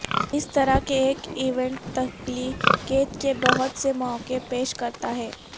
اس طرح کے ایک ایونٹ تخلیقیت کے بہت سے مواقع پیش کرتا ہے